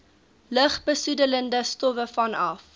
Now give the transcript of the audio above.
lugbesoedelende stowwe vanaf